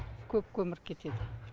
көп көмір кетеді